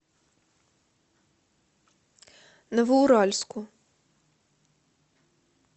новоуральску